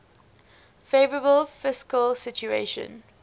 favourable fiscal situation